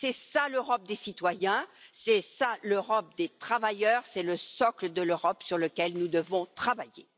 C'est ça l'Europe des citoyens, c'est ça l'Europe des travailleurs, c'est le socle de l'Europe sur lequel nous devons travailler.